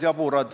Aitäh!